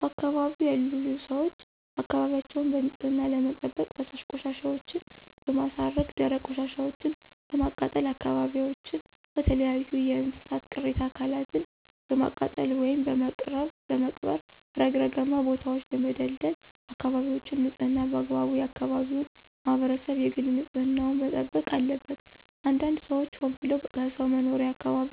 በአካባቢው ያሉ ሰዎች አካባቢያቸውን በንፅህና ለመጠበቅ ፈሳሽ ቆሻሻወችን በማስረገ ደረቅ ቆሻሻወችን በማቃጠል አካባቢዎችን ከተለያዩ የእንስሳት ቅሬተ አካላትን በማቃጠል ወይም በመቅበር ረግረጋማ ቦታወችን በመደልደል አካበቢወችን ንፅህና በአግባቡ የአከባቢው ማህበረሰብ የግል ንፅህና ዉን መጠበቅ አለበት። አንዳንድ ሰዎች ሆን ብለው ከሰው መኖሪያ አካባቢ